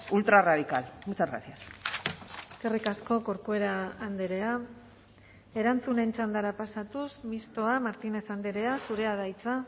ultra radical muchas gracias eskerrik asko corcuera andrea erantzunen txandara pasatuz mistoa martínez andrea zurea da hitza